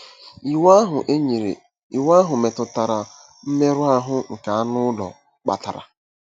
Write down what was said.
Iwu ahụ e nyere Iwu ahụ metụtara mmerụ ahụ nke anụ ụlọ kpatara.